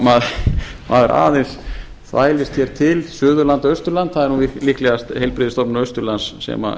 maður aðeins þvælir hér til suðurlandi eða austurlandi það er nú líklegast heilbrigðisstofnun austurlands sem